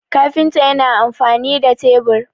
kafinta yana amfani da tebur